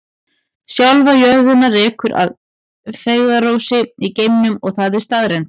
Sjálfa jörðina rekur að feigðarósi í geimnum og það er staðreynd.